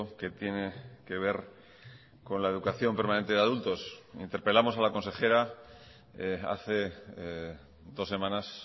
que tiene que ver con la educación permanente de adultos interpelamos a la consejera hace dos semanas